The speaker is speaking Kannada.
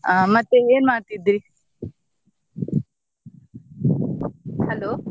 ಹ ಮತ್ತೆ ಏನ್ ಮಾಡ್ತಿದ್ರಿ? Hello .